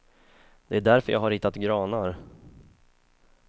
Det är därför jag har ritat granar.